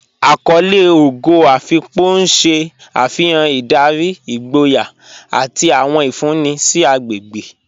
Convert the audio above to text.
Àkọlé Ógò Afíkpò n ṣẹ́ afihàn ìdárí, ìgbòyà, àti àwọn ìfúnńì sí àgbégbe.